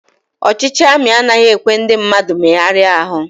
Ọchịchị ami anaghị ekwe ndị mmadụ megharia ahu